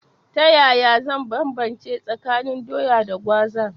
Ta yaya zan banbance tsakanin Doya da Gwaza?